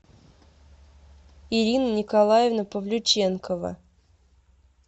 ирина николаевна павлюченкова